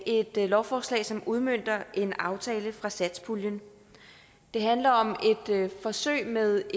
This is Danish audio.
et lovforslag som udmønter en aftale fra satspuljen det handler om et forsøg med